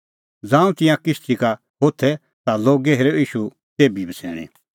ज़ांऊं तिंयां किश्ती का होथै ता लोगै हेरअ ईशू तेभी बछ़ैणीं